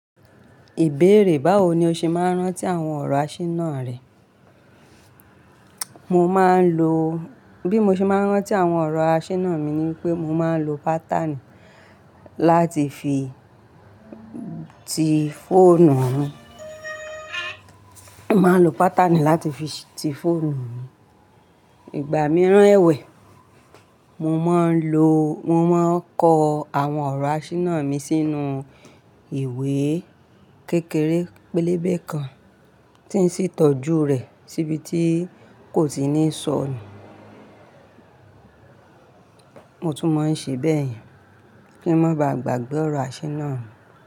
Ìbéèrè báwo ni o ṣe máa ń rántí àwọn ọ̀rọ̀ aṣínà rẹ? Mo máa ń lo, bí mo ṣe máa ń rán tí àwọn ọ̀rọ̀ aṣínà mi ni pé mo máa ń lo pátànì láti fi ti foọ̀nù mii. Mo máa ń lo pátànì láti fi tifọ̀nù wọn. Ìgbà mi rán ẹ̀wẹ̀, mo máa ń lo, mo máa ń kọ àwọn ọ̀rọ̀ aṣínà mi sínú ìwé kékeré pélébé kan tí ń sì tọ́jú rẹ̀ síbi tí kò tí ní sọnù. Mo tún máa ń ṣe bẹ́yen kí n má ba à gbàgbé ọ̀rọ̀ aṣínà mi.